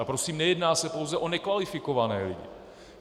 A prosím, nejedná se pouze o nekvalifikované lidi.